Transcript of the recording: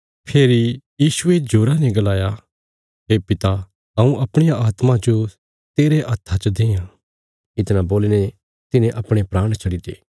फेरी यीशुये जोरा ने गलाया हे पिता हऊँ अपणिया आत्मा जो तेरे हत्था च देआं इतणा बोलीने तिन्हे अपणे प्राण छड्डीते